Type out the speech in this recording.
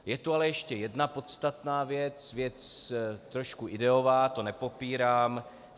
Je tu ale ještě jedna podstatná věc, věc trošku ideová, to nepopírám.